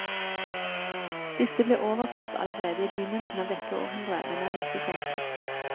Disse ble oversatt allerede i begynnelsen av dette århundret, men er lite kjent.